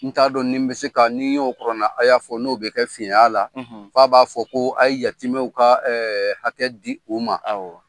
N t'a dɔn nin bɛ se ka ni n y'o kuranɛ haya fɔ n'o bɛ kɛ fiɲɛ y'a la f'a b'a fɔ ko a ye yatimɛw ka hakɛ di u ma. Awɔ.